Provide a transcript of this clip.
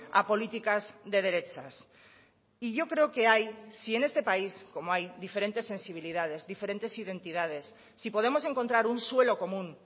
a políticas de derechas y yo creo que hay si en este país como hay diferentes sensibilidades diferentes identidades si podemos encontrar un suelo común